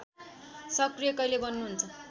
सक्रिय कहिले बन्नुहुन्छ